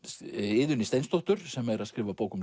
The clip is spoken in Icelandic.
Iðunni Steinsdóttur sem er að skrifa bók um